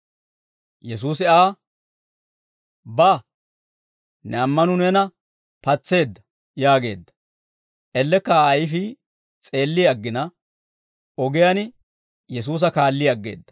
Yesuusi Aa, «Ba; ne ammanuu neena patseedda» yaageedda. Ellekka Aa ayfii s'eelli aggina, ogiyaan Yesuusa kaalli aggeedda.